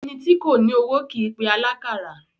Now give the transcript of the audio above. Ẹni tí kò ní owó kìí pe alákàrà